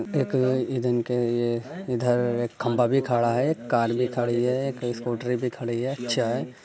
एक अ ये इ धन क इधर एक खम्भा भी खड़ा है। कार भी खड़ी है। एक स्कूटर भी खड़ी है। चाय --